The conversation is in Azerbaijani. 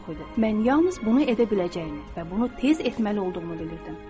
Mən yalnız bunu edə biləcəyimi və bunu tez etməli olduğumu bilirdim.